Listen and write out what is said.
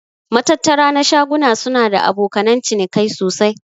Matattara na shaguna suna da abokanan cinikai sosai.